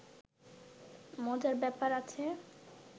মজার ব্যাপার আছে